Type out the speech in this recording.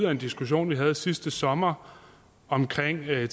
af en diskussion vi havde sidste sommer om tilgængelighed i